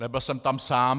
Nebyl jsem tam sám.